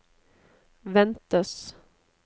ventes